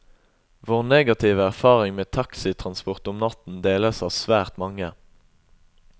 Vår negative erfaring med taxitransport om natten deles av svært mange.